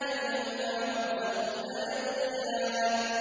بَيْنَهُمَا بَرْزَخٌ لَّا يَبْغِيَانِ